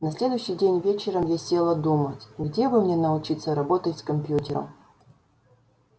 на следующий день вечером я села думать где бы мне научиться работать с компьютером